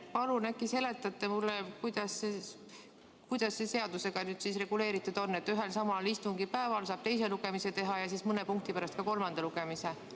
Palun, äkki seletate mulle, kuidas see seadusega reguleeritud on, et ühel ja samal istungipäeval saab algul teha teise lugemise ja siis mõne punkti pärast ka kolmanda lugemise?